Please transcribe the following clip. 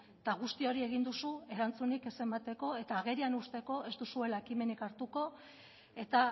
eta guzti hori egin duzu erantzunik ez emateko eta agerian uzteko ez duzuela ekimenik hartuko eta